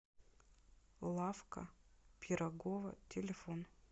лавка пирогова телефон